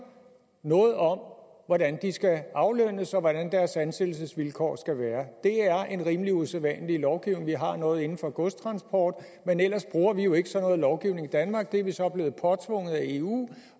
noget om hvordan de skal aflønnes og hvordan deres ansættelsesvilkår skal være det er en rimelig usædvanlig lovgivning vi har noget inden for godstransport men ellers bruger vi jo ikke sådan noget lovgivning i danmark det er vi så blevet påtvunget af eu